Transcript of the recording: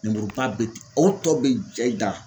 Lemuruba bɛ o tɔ bɛ da